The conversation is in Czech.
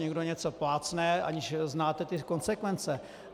Někdo něco plácne, aniž znáte ty konsekvence.